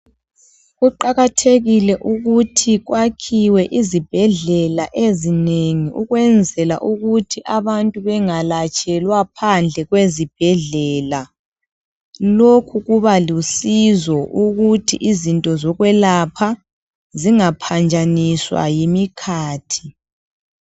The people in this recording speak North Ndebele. Kuqakathekile ukuthi kwakhiwe izibhedlela ezinengi ukwenzela ukuthi abantu bengalatshelwa phandle kwezibhendlela. Lokhu kuba lusizo ukuthi izinto zokwelapha zingaphanjaniswa yimikhathi.